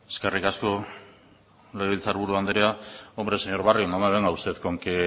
eskerrik asko legebiltzar buru andrea hombre señor barrio no me venga usted con que